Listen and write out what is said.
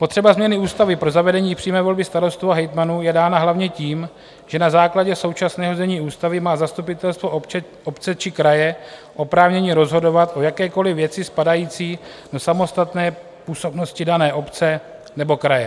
Potřeba změny ústavy pro zavedení přímé volby starostů a hejtmanů je dána hlavně tím, že na základě současného znění ústavy má zastupitelstvo obce či kraje oprávnění rozhodovat o jakékoli věci spadající do samostatné působnosti dané obce nebo kraje.